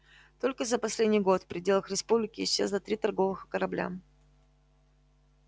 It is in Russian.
только за последний год в пределах республики исчезло три торговых корабля